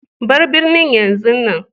Bar birnin yanzun nan.